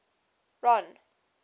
ron